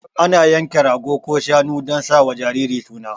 Ana yanka rago ko shanu dan sa wa jariri suna